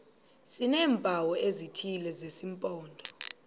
sineempawu ezithile zesimpondo